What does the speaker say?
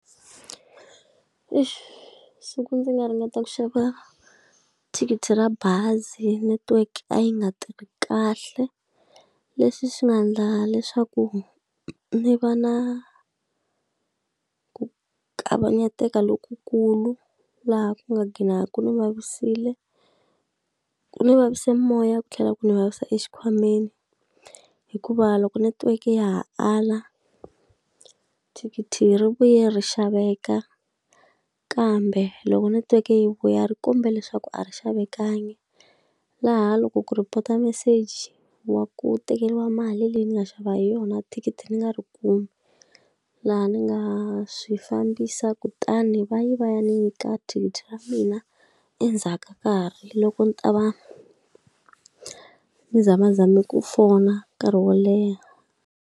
Siku ndzi nga ringeta ku xava thikithi ra bazi network a yi nga tirhi kahle, leswi swi nga endla leswaku ndzi va na ku kavanyeteka lokukulu. Laha ku nga ghina ku ni vavisile, ku ni vavise moya ku tlhela ku ni vavisa exikhwameni. Hikuva loko netiweke ya ha ala, thikithi yi ri vuye ri xaveka kambe loko netiweke yi vuya ri kumbe leswaku a ri xavekangi. Laha loko ku report-a meseji wa ku tekeriwa mali leyi ni nga xava hi yona thikithi ni nga ti kumi, laha ni nga swi fambisa kutani va ye va ya ni nyika thikithi ra mina endzhaku ka nkarhi loko ni ta va ni zamazame ku fona nkarhi wo leha.